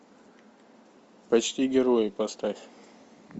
почти герои поставь